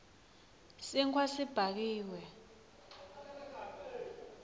sinkhwa sibhakiwe